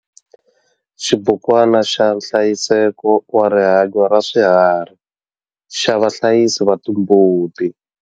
Xibukwana xa nhlayiseko wa rihanyo ra swiharhi xa vahlayisi va timbuti.